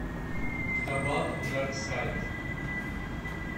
табак дарк сайд